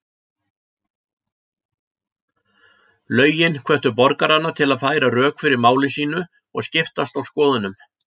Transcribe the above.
Lögin hvöttu borgarana til að færa rök fyrir máli sínu og skiptast á skoðunum.